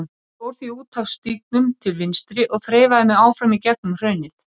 Ég fór því út af stígnum til vinstri og þreifaði mig áfram í gegnum hraunið.